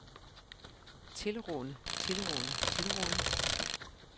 tilrane tilrane tilrane